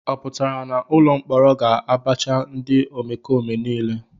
Ọ pụtara na ụlọ mkpọrọ ga-abacha ndị omekome niile a?